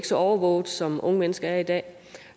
så overvåget som unge mennesker er i dag